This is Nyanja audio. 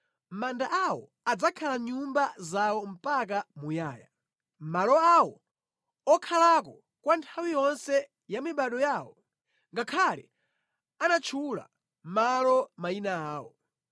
Manda awo adzakhala nyumba zawo mpaka muyaya, malo awo okhalako kwa nthawi yonse ya mibado yawo, ngakhale anatchula malo mayina awo.